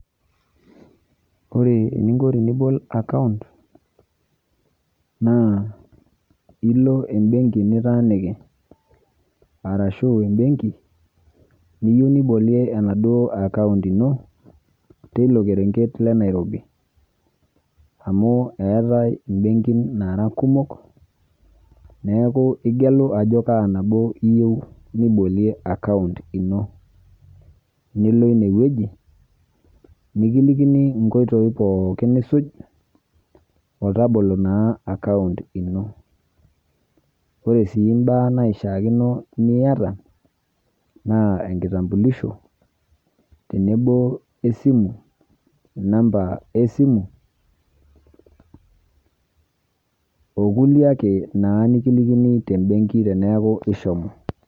Ore eninko tenibol akaunt naa ilo embenki nitaaniki arashu embenki[vs] niyou nibolie enaduo akaunt ino teilo kerenket le Nairobi. Amuu eetai imbenkin naara kumok, neaku igelu ajo kaa nabo iyou nibolie akaunt ino nilo inewueji nikilikini inkoitoi pooki nisuj otabolo naa akaunt ino. Ore sii imbaa naishakino niata naa enkitambulisho tenebo e simu,  namba esimu o kulie ake naa nikilikini te mbenki teneaku ishomo.